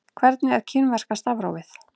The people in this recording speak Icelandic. Hvernig er kínverska stafrófið?